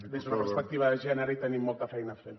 des d’una perspectiva de gènere hi tenim molta feina a fer